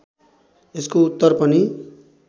यसको उत्तर पनि